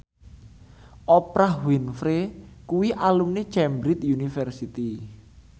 Oprah Winfrey kuwi alumni Cambridge University